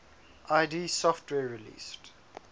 id software released